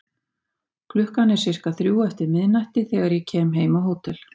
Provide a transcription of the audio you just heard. Klukkan er sirka þrjú eftir miðnætti þegar ég kem heim á hótel.